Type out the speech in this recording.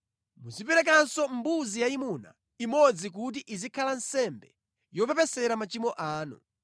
Muziperekanso mbuzi yayimuna imodzi kuti izikhala nsembe yopepesera machimo anu.